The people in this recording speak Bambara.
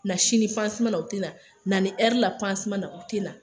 Na sini na o tɛ na, na ni ɛri la na o tɛ na.